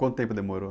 Quanto tempo demorou?